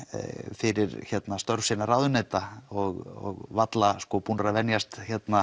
fyrir störf sinna ráðuneyta og varla búnir að venjast